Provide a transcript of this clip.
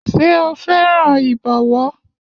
Ṣé o fẹ́ràn ìbọ̀wọ́?